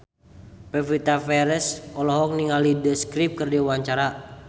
Pevita Pearce olohok ningali The Script keur diwawancara